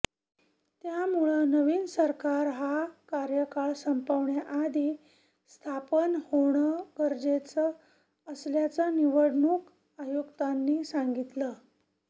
त्यामुळं नवीन सरकार हा कार्यकाळ संपण्याआधी स्थापन होणं गरजेचं असल्याचं निवडणूक आयुक्तांनी सांगितलं